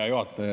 Hea juhataja!